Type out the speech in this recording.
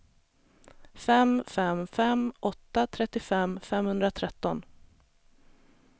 fem fem fem åtta trettiofem femhundratretton